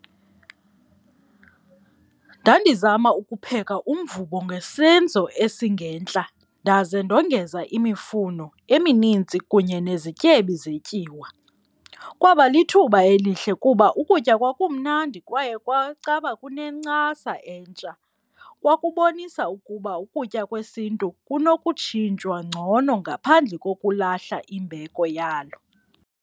Ndandizama ukupheka umvubo ngesenzo esingentla ndaze ndongeza imifuno eminintsi kunye nezityebi zetyiwa, kwaba lithuba elihle kuba ukutya kwakumnandi kwaye kwacaba kunencasa entsha. Kwakubonisa ukuba ukutya kwesiNtu kunokutshintshwa ngcono ngaphandle kokulahla imbeko yalo.